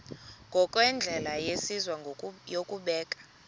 ngokwendlela yesizwe yokubeka